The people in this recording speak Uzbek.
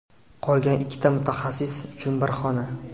Qolgan ikkita mutaxassis uchun bir xona.